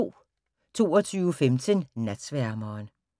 22:15: Natsværmeren